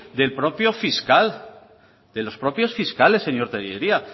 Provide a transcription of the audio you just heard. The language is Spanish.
del propio fiscal de los propios fiscales señor tellería